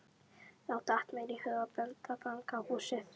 Þá datt mér í hug að benda á fangahúsið.